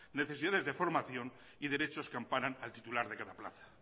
necesidades de formación y derechos que amparan al titular de cada plaza